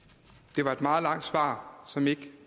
det var et meget langt svar som ikke gav